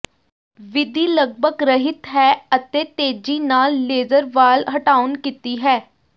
ਵਿਧੀ ਲਗਭਗ ਰਹਿਤ ਹੈ ਅਤੇ ਤੇਜ਼ੀ ਨਾਲ ਲੇਜ਼ਰ ਵਾਲ ਹਟਾਉਣ ਕੀਤੀ ਹੈ